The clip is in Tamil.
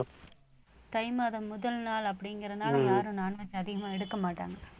தை மாதம் முதல் முதல் நாள் அப்படிங்கறதுனால யாரும் non veg அதிகமா எடுக்க மாட்டாங்க